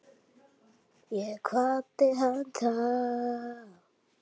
Ég kvaddi hana þá.